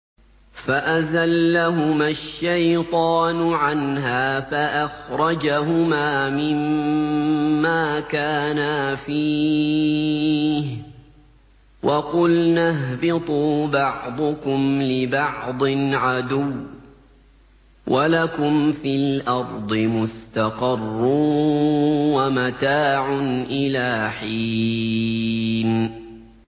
فَأَزَلَّهُمَا الشَّيْطَانُ عَنْهَا فَأَخْرَجَهُمَا مِمَّا كَانَا فِيهِ ۖ وَقُلْنَا اهْبِطُوا بَعْضُكُمْ لِبَعْضٍ عَدُوٌّ ۖ وَلَكُمْ فِي الْأَرْضِ مُسْتَقَرٌّ وَمَتَاعٌ إِلَىٰ حِينٍ